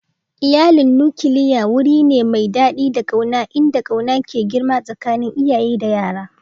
Iyalin nukiliya wuri ne mai daɗi da ƙauna inda ƙauna ke girma tsakanin iyaye da yara.